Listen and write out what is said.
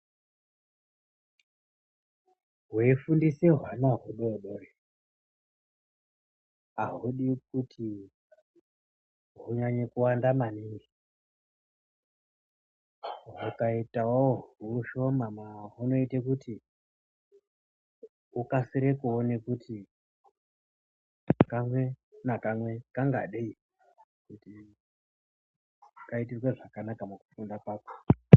Weifundise hwana hudodori ahudi kuti hunyanye kuwanda maningi hwakaitawo hushoma hunoite kuti ukasire kuone kuti kamwe nakamwe kangadei kuti kaitirwe zvakanaka mukufunda kwako.